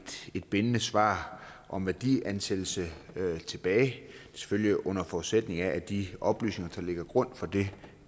et bindende svar om værdiansættelse tilbage selvfølgelig under forudsætning af at de oplysninger der ligger til grund for det